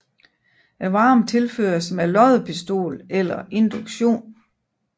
Varmen tilføres med loddepistol eller induktion